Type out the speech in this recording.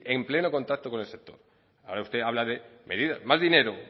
en pleno contacto con el sector ahora usted habla de medidas más dinero